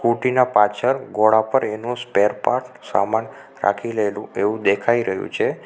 Scooty ના પાછળ ઘોડા પર એનો સ્પેરપાર્ટ સામાન રાખી લેલું એવું દેખાઈ રહ્યું છે.